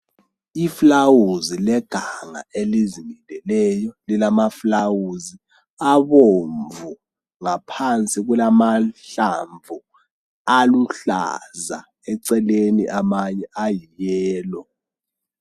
Iflawuzi leganga elizimileleyo, lilamaflawuzi abomvu, ngaphansi kulamahlamvu aluhlaza, eceleni amanye ayiyelo.